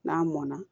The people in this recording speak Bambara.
N'a mɔnna